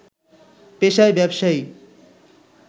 পেশায় ব্যবসায়ী